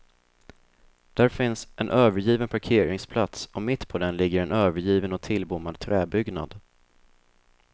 Där finns en övergiven parkeringsplats och mitt på den ligger en övergiven och tillbommad träbyggnad.